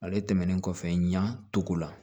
Ale tɛmɛnen kɔfɛ ɲan togo la